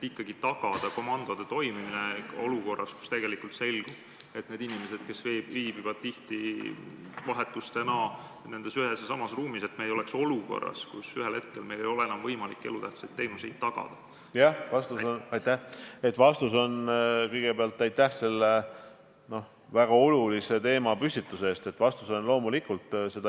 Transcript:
Kas selles osas on võetud kasutusele mingisuguseid meetmeid?